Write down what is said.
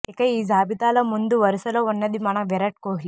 ఇక ఈ జాబితాలో ముందు వరుసలో ఉన్నది మన విరాట్ కోహ్లి